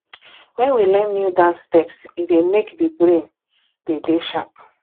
when we learn new dance steps e dey make di brain de dey sharp